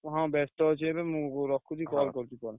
ହଁ ବେସ୍ତ ଅଛି ଏବେ ମୁଁ ରଖୁଛି ପରେ କରୁଛି call ।